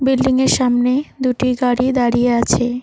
বিল্ডিংয়ের সামনে দুটি গাড়ি দাঁড়িয়ে আছে।